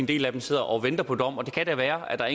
del af dem sidder og venter på en dom og det kan da være at der